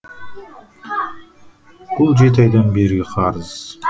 бұл жеті айдан бергі қарыз